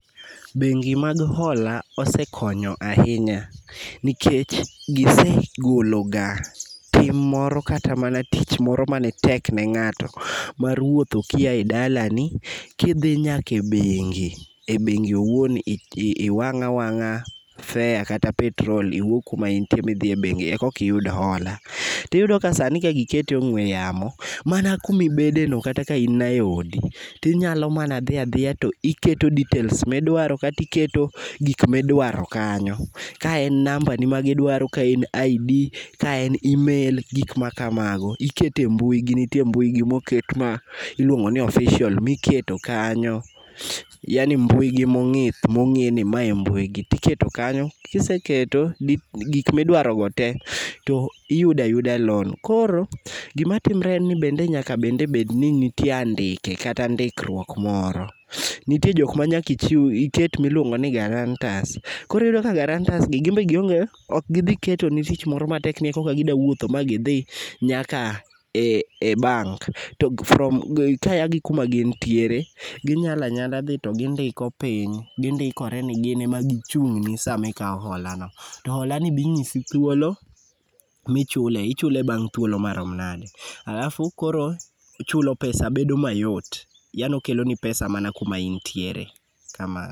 Bengi mag hola osekonyo ahinya, nikech gisegolo ga tim moro kata mana tich moro manetek ne ng'ato mar wuotho kia e dalani kidhi nyaka e bengi, e bengi owuon iwang' awang'a fare kata petrol iwuog kuma intie bi dhi e bengi e koki iyud hola. Tiyudoni sani kagikete e ong'we yamo mana kumibedeno kata ka in na e odi tinyalo mana dhi adhiya to iketo details midwaro kata iketo gik midwaro kanyo, ka en nambani ma idwaro, ka en id, ka en email gik makamago ikete mbuigi nitie mbuigi moket ma iluongo ni official miketo kanyo yani mbuigi mong'ith mong'e ni mae e mbuigi tiketo kanyo kiseketo gik midwarogo te to iyudo ayuda loan. Koro gimatimre en ni bende nyakabende bed ni nitie andike kata ndikruok moro, nitie jokma nyaka iket miluongo ni guarantors koro iyudo ka guarantors gi gibende ok gidhi ketni tich moro matek ni korka gidawuotho manyaka gidhi nyaka e bank to kaya gi kuma gintiere, ginyala anyala dhi to gindiko piny gindikore ni gin ema gichung'ni sama ikawo holano. To hola no be ing'isi thuolo kumichule ichule bang' thuolo marom nade, alafu koro chulo pesa bedo mayot yaani okeloni pesa mana kuma intiere, kamano.